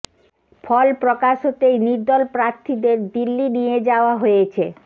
ফল প্রকাশ হতেই নির্দল প্রার্থীদের দিল্লি নিয়ে যাওয়া হয়েছে